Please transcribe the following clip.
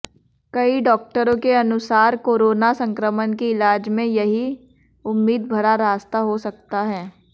कई डॉक्टरों के अनुसारकोरोना संक्रमण के इलाज में यह उम्मीद भरा रास्ता हो सकता है